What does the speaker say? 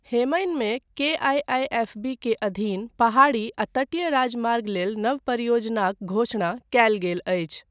हेमनिमे KIIFB के अधीन पहाड़ी आ तटीय राजमार्ग लेल नव परियोजनाक घोषणा कयल गेल अछि।